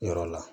Yɔrɔ la